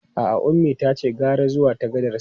A'a, Ummi tace gara zuwa ta gadar sama.